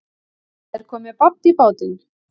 Það er komið babb í bátinn